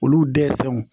Olu dɛsɛw